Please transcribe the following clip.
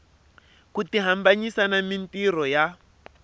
ku tihambanyisa na mintirho ya